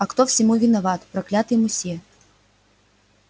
а кто всему виноват проклятый мусье